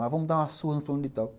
Ah, vamos dar uma surra no fulano de tal.